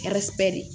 de